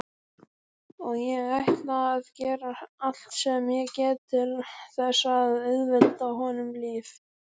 Og ég ætla að gera allt sem ég get til þess að auðvelda honum lífið.